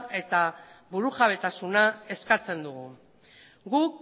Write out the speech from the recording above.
eta burujabetasuna eskatzen dugu guk